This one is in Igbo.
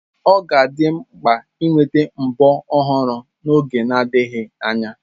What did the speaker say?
Ọ ga-adị m mkpa ịnweta mbo ọhụrụ n'oge adịghị anya.